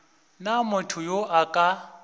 na motho yo a ka